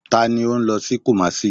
Tani o nlo si Kumasi?